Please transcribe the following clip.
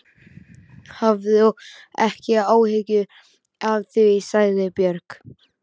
Hafðu ekki áhyggjur af því, sagði Björg.